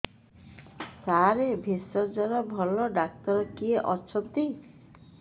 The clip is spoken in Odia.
ସାର ଭେଷଜର ଭଲ ଡକ୍ଟର କିଏ ଅଛନ୍ତି